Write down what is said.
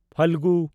Phalgun